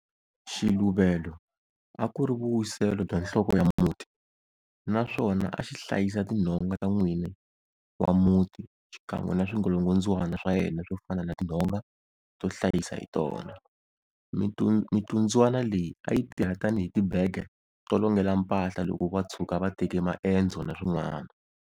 Xiluvelo a ku ri vuwiselo bya nhloko ya muti, naswona a xi hlayisa tinhonga ta n'wini wa muti xikan'we na swingolongondzwana swa yena swo fana na tinhonga to hlayisa hi tona, mitundzwana leyi a yi tirha tani hi tibege to longela mpahla loko va tshuka va teke maendzo na swin'wana.